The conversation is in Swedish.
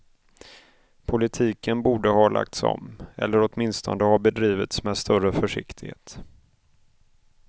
Politiken borde ha lagts om, eller åtminstone ha bedrivits med större försiktighet.